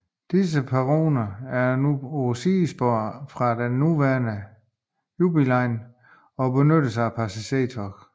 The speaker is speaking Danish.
Disse perroner er nu på et sidespor fra den nuværende Jubilee line og benyttes ikke af passagertog